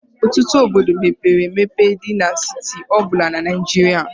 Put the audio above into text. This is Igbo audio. Ọtụtụ Obodo mepere emepe dị na steeti ọ bụla na Naịjirịa.